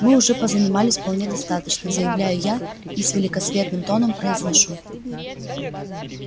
мы уже позанимались вполне достаточно заявляю я и великосветским тоном произношу